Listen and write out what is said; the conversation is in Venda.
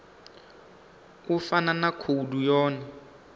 u fana na khoudu yone